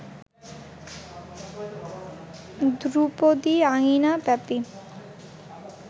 ধ্রুপদী আঙিনা ব্যাপী